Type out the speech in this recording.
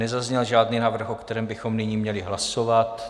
Nezazněl žádný návrh, o kterém bychom nyní měli hlasovat.